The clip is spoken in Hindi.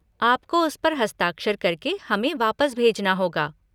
आपको उस पर हस्ताक्षर करके हमें वापस भेजना होगा।